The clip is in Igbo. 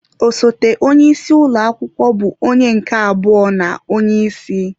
Osote onye isi ụlọ akwụkwọ bụ onye nke abụọ na onye isi.